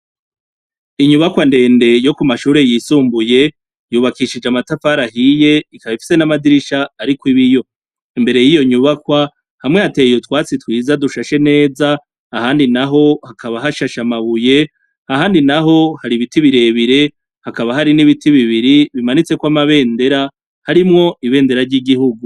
Inyubakwa ndende yo ku mashuri yisumbuye yubakishije amatafari ahiye ikaba ifise n'amadirisha ariko ibiyo imbere y'iyo nyubakwa hamwe hateyye utwatsi twiza dushashe neza ahandi naho hakaba hashashe amabuye ahandi naho hari ibiti birebire hakaba hari n'ibiti bibiri bimanitse kw'amabendera harimwo ibendera ry'igihugu.